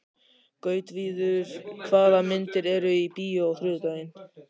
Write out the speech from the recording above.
Gautviður, hvaða myndir eru í bíó á þriðjudaginn?